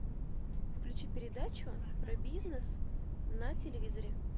включи передачу про бизнес на телевизоре